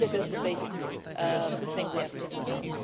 I think this is the basic thing we have to do now.